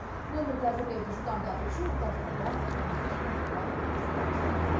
нөмірді әзірлеуді жылдамдату үшін орталықтарда арнайы қондырғы іске қосылыпты